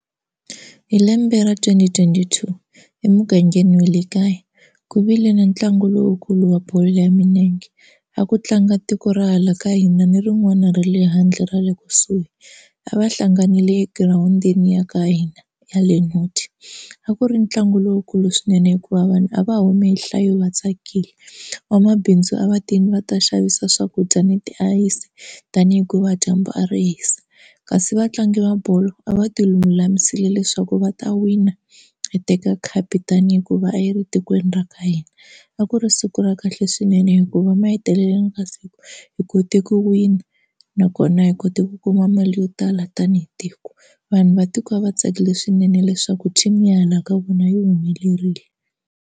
Hi lembe ra twenty twenty two emugangeni wa le kaya ku vile na ntlangu lowukulu wa bolo ya milenge, a ku tlanga tiko ra hala ka hina ni rin'wana ra le handle ra le kusuhi a va hlanganile egirawundini ya ka hina ya le Noti. A ku ri ntlangu lowukulu swinene hikuva vanhu a va humi hi nhlayo va tsakile, vamabindzu a va tini va ta xavisa swakudya ni tiayisi tani hikuva dyambu a ri hisa. Kasi vatlangi va bolo a va ti lulamisile leswaku va ta wina hi teka khapu tani hikuva a yi ri tikweni ra ka hina. A ku ri siku ra kahle swinene hikuva ma heteleleni ka siku hi kote ku wini nakona hi kote ku kuma mali yo tala tanihi tiko. Vanhu va tiko a va tsakile swinene leswaku team i ya hala ka vona yi humelerile.